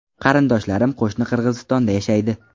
Qarindoshlarim qo‘shni Qirg‘izistonda yashaydi.